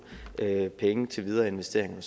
penge til videre investeringer og